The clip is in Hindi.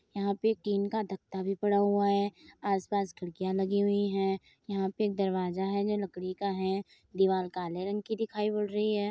यहाँ पे टिन का गत्ता भी पड़ा हुआ है। आस-पास खिड़कियाँ लगी हुई हैं। यहाँ पे एक दरवाजा है जो लकड़ी का है दीवाल काले रंग की दिखाई पड़ रही है।